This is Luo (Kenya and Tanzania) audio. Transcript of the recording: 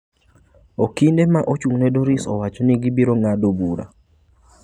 Okinde ma ochung'ne Doris owacho ni gibiro ng'ado bura.